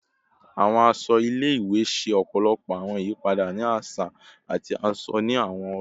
Awọn aṣọ ile-iwe ṣe ọpọlọpọ awọn iyipada ni aṣa ati aṣọ ni awọn ọdun